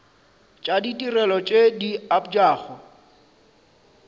tša ditirelo tše di abjago